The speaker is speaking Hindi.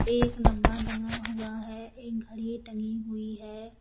एक डब्बा टंगा हुआ है एक घड़ी टंगी हुई है।